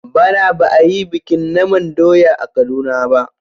Bana ba a yi bikin naman doya a Kaduna ba.